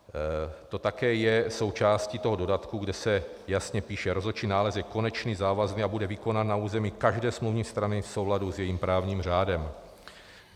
To také je součástí toho dodatku, kde se jasně píše: "Rozhodčí nález je konečný, závazný a bude vykonán na území každé smluvní strany v souladu s jejím právním řádem."